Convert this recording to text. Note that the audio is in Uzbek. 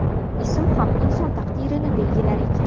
Ism ham inson taqdirini belgilar ekan.